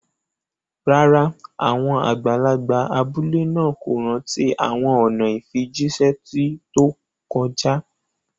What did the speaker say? Rárá, àwọn àgbàlagbà abúlé náà kò rántí àwọn ọ̀nà ìfijíṣẹ́ tó ti kọjá